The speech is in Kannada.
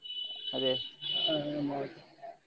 ಅದೇ .